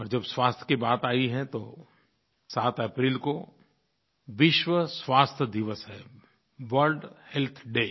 और जब स्वास्थ्य की बात आई है तो 7 अप्रैल को विश्व स्वास्थ्य दिवस है वर्ल्ड हेल्थ डे